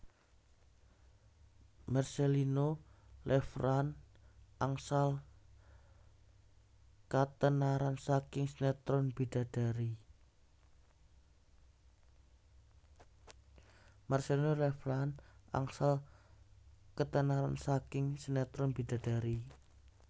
Marcellino Lefrandt angsal katenaran saking sinetron Bidadari